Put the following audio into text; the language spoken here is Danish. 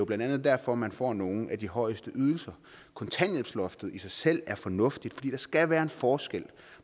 blandt andet derfor man får nogle af de højeste ydelser kontanthjælpsloftet i sig selv er fornuftigt for skal være en forskel